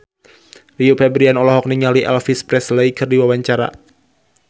Rio Febrian olohok ningali Elvis Presley keur diwawancara